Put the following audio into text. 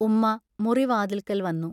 ഉമ്മാ മുറി വാതിൽക്കൽ വന്നു.